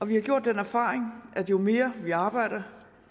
vi har gjort den erfaring at jo mere vi arbejder